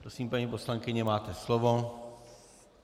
Prosím, paní poslankyně, máte slovo.